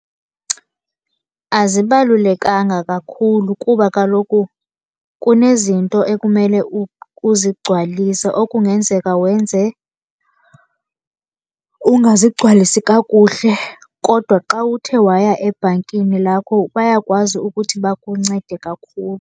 Azibalulekanga kakhulu kuba kaloku kunezinto ekumele uzigcwalise okungenzeka wenze ungazigcwalisi kakuhle. Kodwa xa uthe waya ebhankini lakho bayakwazi ukuthi bakuncede kakhulu.